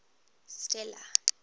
stella